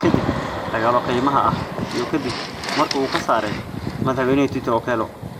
kadib dagaallo kaymaha ah iyo kadib markii uu ka saaray madaxweynaha Tito Okello.